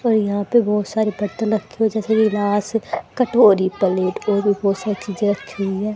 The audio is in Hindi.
और यहां पे बहोत सारी पत्तल रखी हुई है जैसे गिलास कटोरी पलेट और भी बहोत सारी चीजें रखी हुई है।